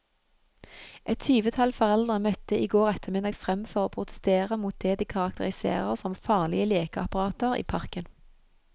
Et tyvetall foreldre møtte i går ettermiddag frem for å protestere mot det de karakteriserer som farlige lekeapparater i parken.